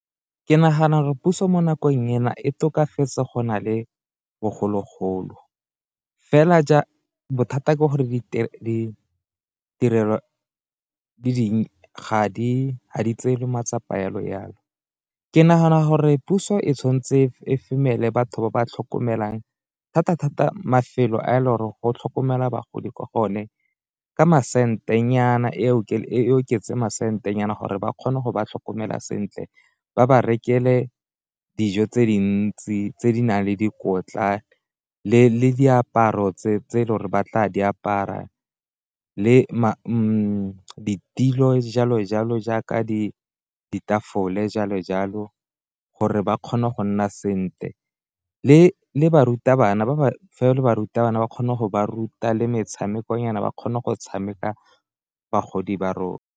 Ke nagana gore puso mo nakong ena e tokafetse go na le bogologolo, fela bothata ke gore ga di ga di tseelwa matsapa jalo jalo. Ke nagana gore puso e tshwanetse e femele batho ba ba tlhokomelang thata-thata mafelo a le gore go tlhokomelwa bagodi kwa go one, ka masente nyana e oketse masente nyana gore ba kgone go ba tlhokomela sentle, ba ba rekele dijo tse dintsi tse di nang le dikotla le diaparo tse le gore ba tla di apara le ditilo jalo jalo jaaka ditafole jalo jalo, gore ba kgone go nna sentle le barutabana ba ba fe le barutabana ba kgone go ba ruta le metshameko nyana ba kgone go tshameka bagodi ba rona.